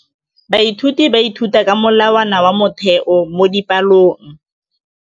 Baithuti ba ithuta ka molawana wa motheo mo dipalong.